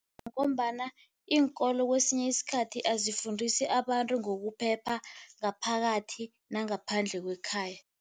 Ngombana iinkolo kwesinye isikhathi azifundisi abantu ngokuphepha, ngaphakathi nangaphandle kwekhaya.